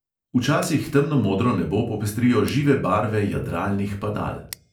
Včasih temnomodro nebo popestrijo žive barve jadralnih padal.